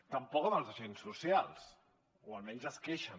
tampoc amb els agents socials o almenys es queixen